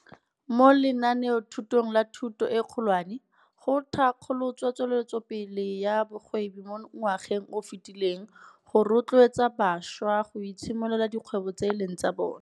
Mo lenaanethutong la Thuto e Kgolwane, go thankgolotswe Tsweletsopele ya Bogwebi mo ngwageng o o fetileng go rotloetsa bašwa go itshimololela dikgwebo tse e leng tsa bona.